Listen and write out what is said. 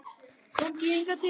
Komdu hingað til mín.